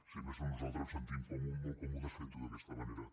si més no nosaltres ens sentim molt còmodes fent ho d’aquesta manera